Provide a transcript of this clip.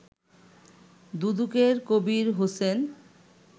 দুদকের কবীর হোসেন